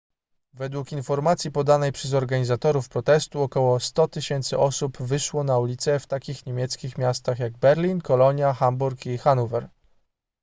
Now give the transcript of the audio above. według informacji podanej przez organizatorów protestu około 100 000 osób wyszło na ulice w takich niemieckich miastach jak berlin kolonia hamburg i hanower